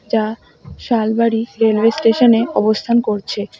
যা শালবাড়ি সেরাই স্টেশনে অবস্থান করছে।